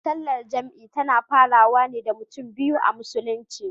Sallar jam'i tana farawa wane da mutum biyu a musulunci.